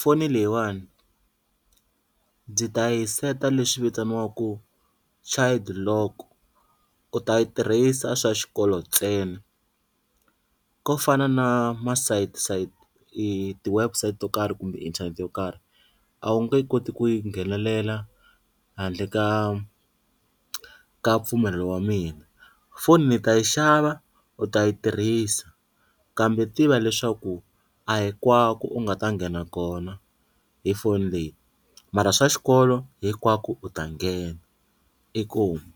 foni leyiwani ndzi ta yi seta leswi vitaniwaka child lock, u ta yi tirhisa swa xikolo ntsena ko fana na masiyisayiti i ti-website to karhi kumbe inthanete yo karhi a wu nge koti ku nghenelela handle ka ka mpfumelelo wa mina, phone ni ta yi xava u ta yi tirhisa kambe tiva leswaku a hinkwako u nga ta nghena kona hi phone leyi mara swa xikolo hinkwako u ta nghena inkomu.